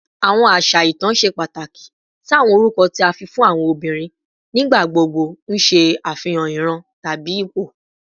Awọn aṣa itan ṣe pataki si awọn orukọ ti a fi fun awọn obinrin, nigbagbogbo n ṣe afihan iran tabi ipo